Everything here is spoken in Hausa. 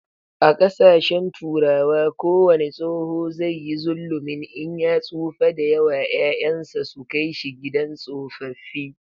A kasashen Turawa kowane tsoho zai yi zullumin in ya tsufa da yawa, 'ya'yan sa su Kai shi gidan tsofaffi